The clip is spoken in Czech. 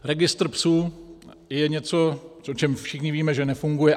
Registr psů je něco, o čem všichni víme, že nefunguje.